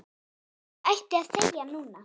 Ég ætti að þegja núna.